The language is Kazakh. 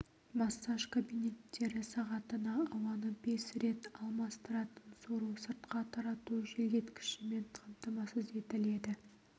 массаж кабинеттері сағатына ауаны бес рет алмастыратын сору-сыртқа тарату желдеткішімен қамтамасыз етіледі